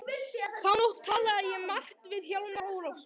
Þá nótt talaði ég margt við Hjálmar Ólafsson.